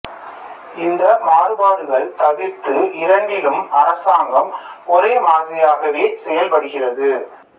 இந்த மாறுபாடுகள் தவிர்த்து இரண்டிலும் அரசாங்கம் ஒரே மாதிரியாகவே செயல்படுகிறது